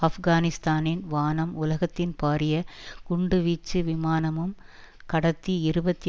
ஆப்கானிஸ்தானின் வானம் உலகத்தின் பாரிய குண்டுவீச்சு விமானமும் கடத்தி இருபத்தி